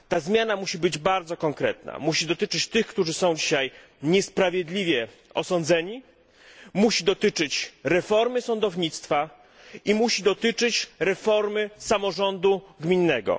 Ta zmiana musi być bardzo konkretna, musi dotyczyć tych, którzy są dzisiaj niesprawiedliwie osądzeni, musi dotyczyć reformy sądownictwa oraz reformy samorządu gminnego.